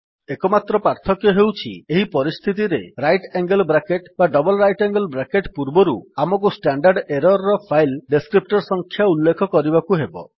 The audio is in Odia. ଏକମାତ୍ର ପାର୍ଥକ୍ୟ ହେଉଛି ଏହି ପରିସ୍ଥିତିରେ ରାଇଟ୍ ଆଙ୍ଗେଲ୍ ବ୍ରାକେଟ୍ ବା ଡବଲ୍ ରାଇଟ୍ ଆଙ୍ଗେଲ୍ ବ୍ରାକେଟ୍ ପୂର୍ବରୁ ଆମକୁ ଷ୍ଟାଣ୍ଡାର୍ଡ୍ ଏରର୍ ର ଫାଇଲ୍ ଡେସ୍କ୍ରିପ୍ଟର୍ ସଂଖ୍ୟା ଉଲ୍ଲେଖ କରିବାକୁ ହେବ